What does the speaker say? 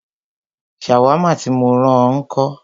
Ṣàwámà tí mó rán ọ ńkọ́?